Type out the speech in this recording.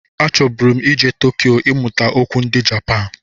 A chọburu m ije Tokiyo ịmụta okwu ndị Japan.